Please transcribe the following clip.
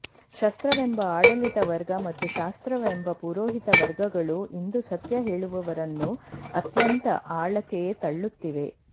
ಶಸ್ತ್ರವೆಂಬ ಆಡಳಿತ ವರ್ಗ ಮತ್ತು ಶಾಸ್ತ್ರವೆಂಬ ಪುರೋಹಿತ ವರ್ಗಗಳು ಇಂದು ಸತ್ಯ ಹೇಳುವವರನ್ನು ಅತ್ಯಂತ ಆಳಕ್ಕೆ ತಳ್ಳುತ್ತಿವೆ